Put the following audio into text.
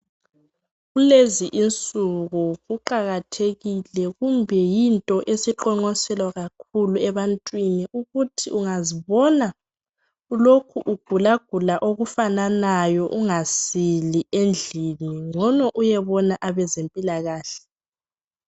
kulezi insuku kuqakathekile kumbe yinto esiqoqonselwa kakhulu ebantwini ukuthi ungazibona ulokhu ugulagula okufananayo ungasili endlini ncono uyebona abezempilakahle